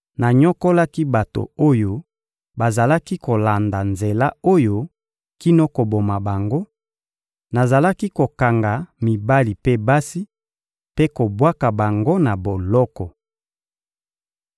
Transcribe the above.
Nanyokolaki bato oyo bazalaki kolanda Nzela oyo kino koboma bango, nazalaki kokanga mibali mpe basi, mpe kobwaka bango na boloko.